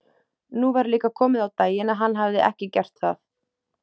Nú var líka komið á daginn að hann hafði ekki gert það.